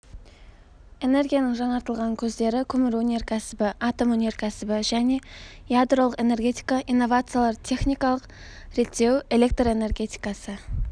энергияның жаңартылатын көздері көмір өнеркәсібі атом өнеркәсібі және ядролық энергетика инновациялар техникалық реттеу электр энергетикасы